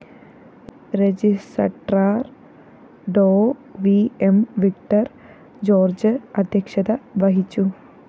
registrar Dr V M Victor George അധ്യക്ഷത വഹിച്ചു